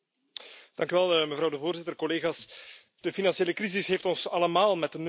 Voorzitter, collega's, de financiële crisis heeft ons allemaal met de neus op de feiten gedrukt.